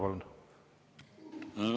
Palun!